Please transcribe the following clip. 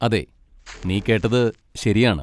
അതെ, നീ കേട്ടത് ശരിയാണ്.